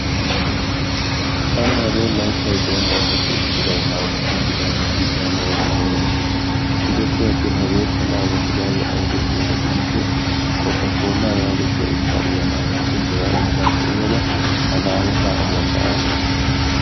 Tanaara hagee layttaa doommanaappe issibay laammottiidi laammottiidi hano gakkanwu gattiis. Giddoppe atin hegeekka laammotridagee aybee giyabaa gidikko kookkaakkollaa yaagiya ushshaa uyanaagashi hegaa ushshakka uyada ta laammoota amuwakka aattas.